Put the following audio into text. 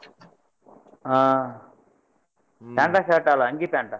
ಹಾ pant, shirt ಅಲ್ಲ ಅಂಗಿ, pant .